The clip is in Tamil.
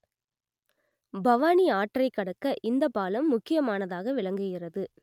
பவானி ஆற்றை கடக்க இந்த பாலம் முக்கியமானதாக விளங்குகிறது